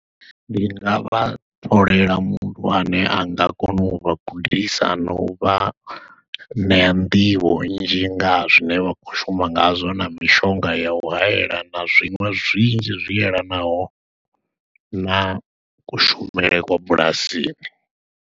Ndi nga vha tholela muthu ane a nga kona u vha gudisa, na u vha ṋea nḓivho nnzhi ngaha zwine vha khou shuma ngazwo, na mishonga ya u hayela, na zwiṅwe zwinzhi zwi yelanaho na kushumele kwa bulasini.